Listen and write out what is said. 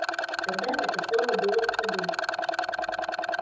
тогда это слово было в ходу